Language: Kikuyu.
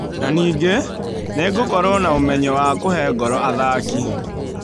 Na ningĩ, nĩngũkorwo na ũmenyo wa kũhe ngoro athaki.